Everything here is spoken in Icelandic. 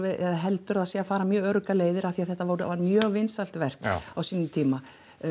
eða heldur að þau séu að fara mjög örugga leið af því að þetta var mjög vinsælt verk á sínum tíma